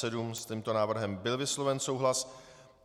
S tímto návrhem byl vysloven souhlas.